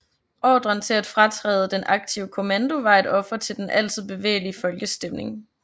Ordren til at fratræde den aktive kommando var et offer til den altid bevægelige folkestemning